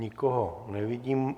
Nikoho nevidím.